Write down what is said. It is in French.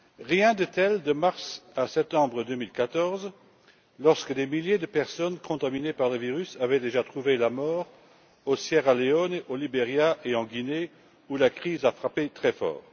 Rien de tel de mars à septembre 2014, lorsque des milliers de personnes contaminées par le virus avaient déjà trouvé la mort en Sierra Leone, au Liberia et en Guinée où la crise a frappé très fort.